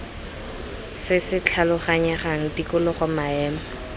se se tlhaloganyegang tikologo maemo